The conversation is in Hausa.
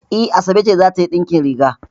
E, Asabe ce za ta yi ɗinkin riga.